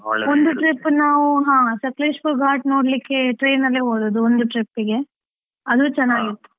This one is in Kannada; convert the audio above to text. trip ನಾವು ಹ ಸಕ್ಲೇಶಪುರ್ ಘಾಟ್ ನೋಡ್ಲಿಕ್ಕೆ ನಾವು train ಅಲ್ಲೇ ಹೋದದ್ದು, ಒಂದು trip ಗೆ, ಅದು ಚನ್ನಾಗಿತ್ತು.